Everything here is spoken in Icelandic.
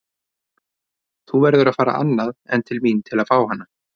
Þú verður að fara annað en til mín að fá hana.